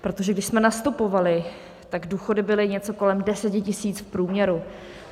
Protože když jsme nastupovali, tak důchody byly něco kolem 10 tisíc v průměru.